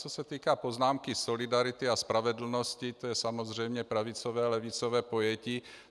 Co se týká poznámky solidarity a spravedlnosti, to je samozřejmě pravicové a levicové pojetí.